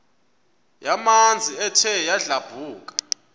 yamanzi ethe yadlabhuka